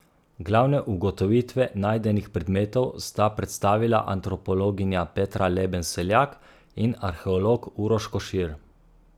Glavne ugotovitve najdenih predmetov sta predstavila antropologinja Petra Leben Seljak in arheolog Uroš Košir.